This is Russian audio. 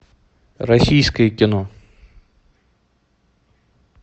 российское кино